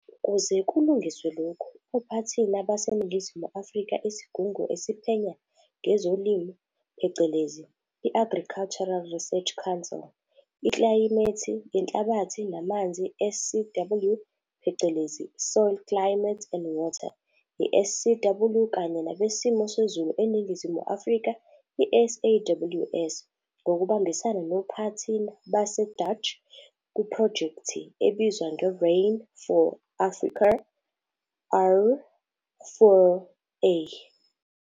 Ukuze kulungiswe lokhu, ophathina baseNingizimu Afrika Isigungu esiPhenya ngezoLimo phecelezi, I-Agricultural Research Council- iklayimethi yenhlabathi naManzi, SCW, phecelezi - Soil Climate and Water, i-SCW, Kanye nabeSimo seZulu eNingizimu Afrika, iSAWS, ngokubambisana nophathina base-Dutch kuphrojekthi ebizwa nge-Rain for Africa, R4A.